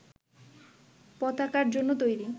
পতাকার জন্য তৈরি